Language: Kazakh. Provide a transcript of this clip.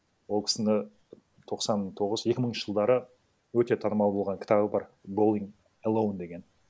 ол кісінің тоқсан тоғыз екі мыңыншы жылдары өте танымал болған кітабі бар гоин элоун деген